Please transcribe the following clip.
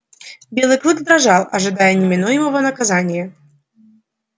белый клык дрожал ожидая неминуемого наказания